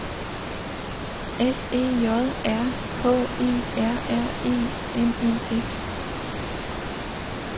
S E J R H E R R E N E S